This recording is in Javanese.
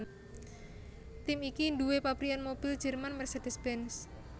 Tim iki nduwé pabrikan mobil Jerman Mercedes Benz